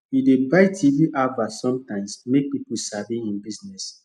e dey buy tv advert sometimes make people sabi hin business